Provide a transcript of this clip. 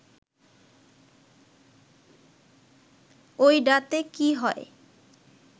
ওইডাতে কি হয়